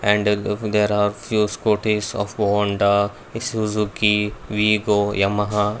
And there are few scootys of honda suzuki vigo yamaha.